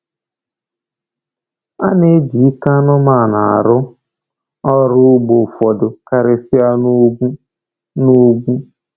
A na-eji ike anụmanụ arụ ọrụ ugbo ụfọdụ, karịsịa na ugwu. na ugwu.